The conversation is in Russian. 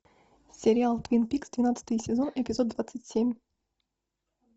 сериал твин пикс двенадцатый сезон эпизод двадцать семь